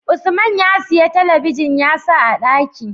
Usman ya siya talabijin ya sa a ɗaki